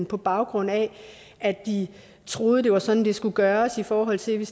på baggrund af at de troede det var sådan det skulle gøres i forhold til